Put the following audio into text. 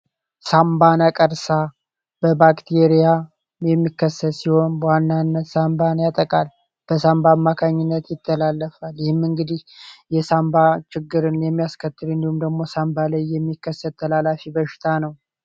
ሳንባነ ቀርሳ በባክቴሪያ የሚከሰት ሲሆን በዋናነት ሳንባን ያጠቃል በሳንባን ማካኝነት ይተላለፋል ይህም እንግዲህ የሳንባ ችግርን የሚያስከትር እንዲሁም ደግሞ ሳንባሌይ የሚከሰት ተላላፊ በሽታ ነው፡፡